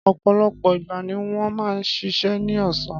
Ọ̀pọ̀lọpọ̀ ìgbà ni wọ́n máa ń ṣiṣẹ́ ní ọ̀sán.